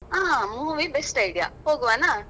ಹಾ movie best idea ಹೋಗ್ವನಾ?